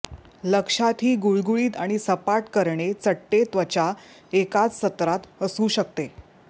लक्षातही गुळगुळीत आणि सपाट करणे चट्टे त्वचा एकाच सत्रात असू शकते